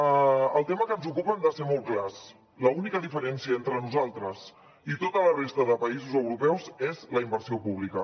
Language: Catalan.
en el tema que ens ocupa hem de ser molt clars l’única diferència entre nosaltres i tota la resta de països europeus és la inversió pública